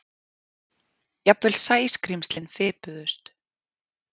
Jafnvel Sæskrímslin fipuðust.